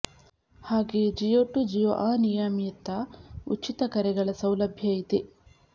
ಹಾಗೆಯೇ ಜಿಯೋ ಟು ಜಿಯೋ ಅನಿಯಮಿತ ಉಚಿತ ಕರೆಗಳ ಸೌಲಭ್ಯ ಇದೆ